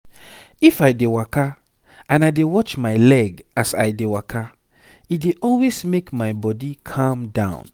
if i dey waka and i dey watch my leg as i dey waka e dey always make my body calm down